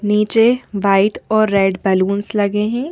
नीचे व्हाइट और red balloons लगे हैं।